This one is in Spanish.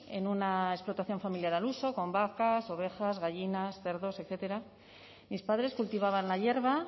en una explotación familiar al uso con vacas ovejas gallinas cerdos etcétera mis padres cultivaban la hierba